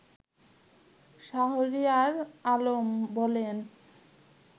শাহরিয়ার আলম বলেন